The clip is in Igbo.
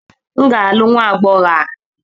M ga-alụ nwa agbọhọ a